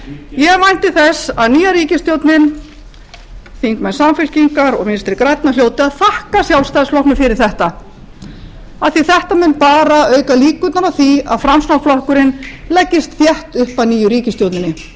ég vænti þess að nýja ríkisstjórnin þingmenn samfylkingar og vinstri grænna hljóti að þakka sjálfstæðisflokknum fyrir þetta af því að þetta mun bara auka líkurnar á því að framsóknarflokkurinn leggist þétt upp að nýju ríkisstjórninni